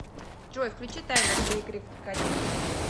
джой включи таймер для игры в крокодила